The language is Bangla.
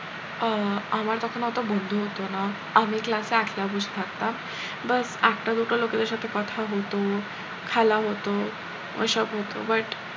আহ আমার তখন অত বন্ধু হতো ন আমি class এ একলা বসে থাকতাম but একটা দুটো লোকেদের সাথে কথা হতো খেলা হতো ওইসব হতো but